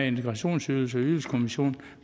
integrationsydelse ydelseskommission